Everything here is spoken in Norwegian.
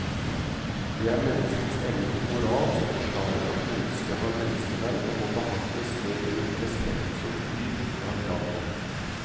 Det er menneskets evne til moral som forklarer at mennesket har menneskeverd og må behandles med en respekt som dyr ikke har krav på.